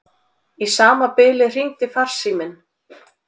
Í sama bili hringdi farsíminn.